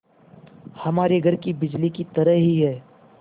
हमारे घर की बिजली की तरह ही है